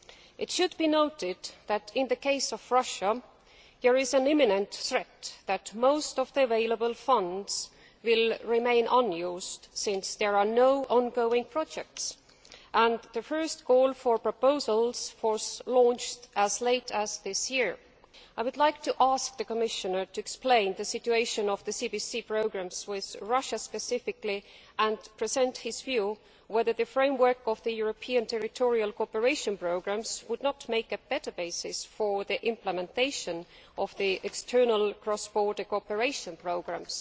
It should be noted that, in the case of Russia, there is an imminent threat that most of the available funds will remain unused since there are no ongoing projects and the first goal for proposals was launched as late as this year. I would like to ask the Commissioner to explain the situation of the CBC programmes with Russia specifically, and to give his view on whether the framework of the European Territorial Cooperation Programmes would not make a better basis for implementation of the external cross border cooperation programmes.